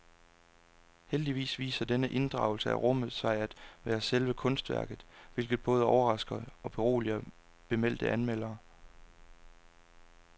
Heldigvis viser denne inddragelse af rummet sig at være selve kunstværket, hvilket både overrasker og beroliger bemeldte anmelder.